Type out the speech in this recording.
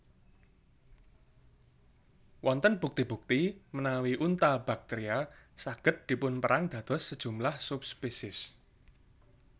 Wonten bukti bukti menawi Unta Baktria saged dipunperang dados sejumlah sub spesies